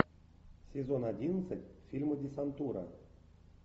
сезон одиннадцать фильма десантура